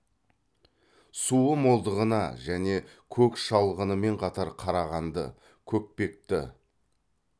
суы молдығына және көк шалғынымен қатар қарағанды көкпекті